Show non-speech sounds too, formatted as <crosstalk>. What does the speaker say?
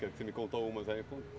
<unintelligible> Você me contou algumas. Aí